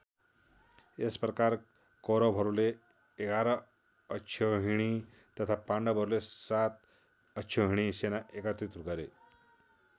यस प्रकार कौरवहरूले ११ अक्षौहिणी तथा पाण्डवहरूले ७ अक्षौहिणी सेना एकत्रित गरे।